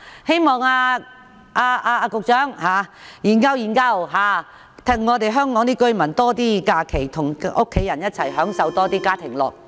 希望局長研究一下，讓香港市民有更多假期與家人一起享受家庭樂。